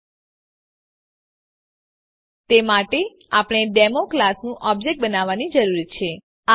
000928 000921 તે માટે આપણને ડેમો ક્લાસનું ઓબ્જેક્ટ બનાવવાની જરૂર છે